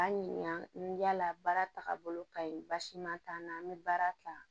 An ɲininka yala baara taaga bolo ka ɲi basi ma t'an na an bɛ baara ta